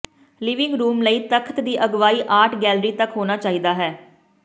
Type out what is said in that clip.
living room ਲਈ ਤਖਤ ਦੀ ਅਗਵਾਈ ਆਰਟ ਗੈਲਰੀ ਤੱਕ ਹੋਣਾ ਚਾਹੀਦਾ ਹੈ